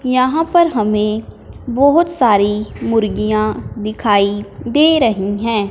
यहां पर हमें बहुत सारी मुर्गियां दिखाई दे रही हैं।